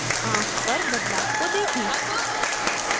आँख पर बदलाव को देखें